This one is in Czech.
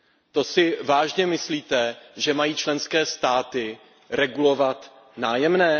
To si vážně myslíte, že mají členské státy regulovat nájemné?